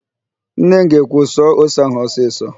Nne m ga-ekwu, "suo ose ahụ ọsịsọ!